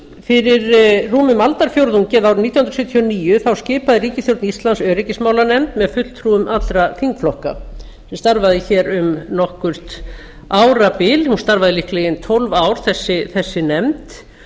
fyrir rúmum aldarfjórðungi eða árið nítján hundruð sjötíu og níu skipaði ríkisstjórn íslands öryggismálanefnd með fulltrúum allra þingflokka sem starfaði hér um nokkurt árabil hún starfaði líklega í ein tólf ár þessi nefnd